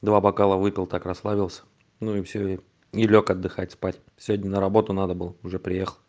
два бокала выпил так расслабился ну и всё и и лёг отдыхать спать сегодня на работу надо было уже приехал